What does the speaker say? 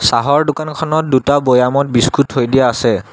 কাঁহৰ দোকানখনত দুটা বয়ামত বিস্কুট থৈ দিয়া আছে।